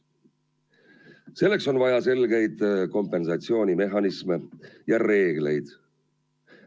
Selleks on vaja selgeid kompensatsioonimehhanisme ja reegleid.